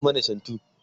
kaɗa mana shantu!